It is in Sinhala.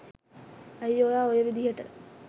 ඇයි ඔයා ඔය විදිහට